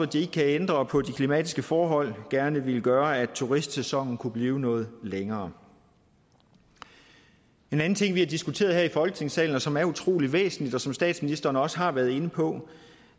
de ikke kan ændre på de klimatiske forhold gerne ville gøre at turistsæsonen kunne blive noget længere en anden ting vi har diskuteret her i folketingssalen som er utrolig væsentlig og som statsministeren også har været inde på